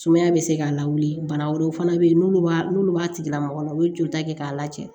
Sumaya bɛ se k'a lawuli bana wɛrɛw fana bɛ yen n'olu b'a n'olu b'a tigila mɔgɔ la u bɛ joli ta kɛ k'a lacɛn